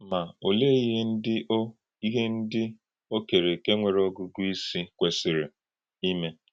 Ma, ọ̀lee íhè ndí ò íhè ndí ò kèrèékè nwere ọ̀gụ́gụ́ ìsì kwesírí ime?